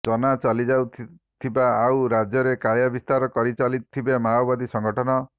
ଚନା ଚାଲିଥିବା ଆଉ ରାଜ୍ୟରେ କାୟା ବିସ୍ତାର କରିଚାଲିଥିବେ ମାଓବାଦୀ ସଙ୍ଗଠନ